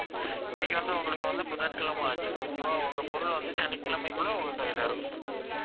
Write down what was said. இன்னைக்கு வந்து உங்களுக்கு வந்த புதன்கிழமை ஆச்சு okay வா உங்க பொருள் வந்து சனிக்கிழமைக்குள்ள உங்க கையில இருக்கும்